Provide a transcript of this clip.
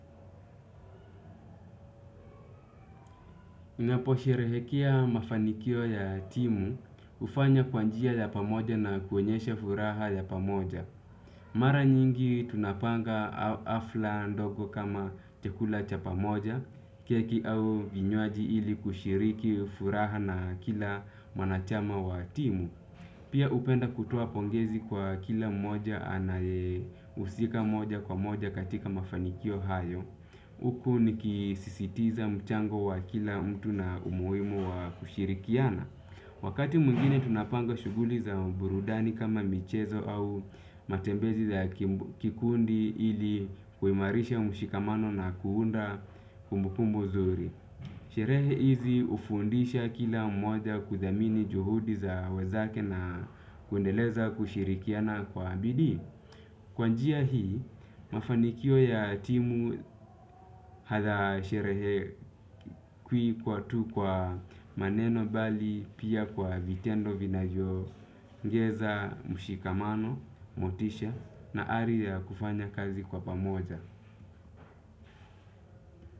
Unaposherehekea mafanikio ya timu, hufanya kwa njia ya pamoja na kuonyesha furaha ya pamoja. Mara nyingi tunapanga hafla ndogo kama chakula cha pamoja, keki au vinywaji ili kushiriki furaha na kila mwanachama wa timu. Pia hupenda kutoa pongezi kwa kila mmoja anayehusika moja kwa moja katika mafanikio hayo. Huku nikisisitiza mchango wa kila mtu na umuhimu wa kushirikiana. Wakati mwingine tunapanga shughuli za burudani kama michezo au matembezi za kikundi ili kuimarisha mshikamano na kuunda kumbukumbu nzuri. Sherehe hizi hufundisha kila mmoja kuthamini juhudi za wenzake na kuendeleza kushirikiana kwa bidii. Kwa njia hii mafanikio ya timu hadha sherehe kwi kwa tu kwa maneno bali pia kwa vitendo vinavyo ongeza mshikamano, motisha na ari ya kufanya kazi kwa pamoja.